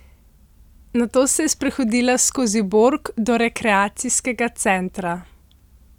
Nato se je sprehodila skozi Borg do rekreacijskega centra.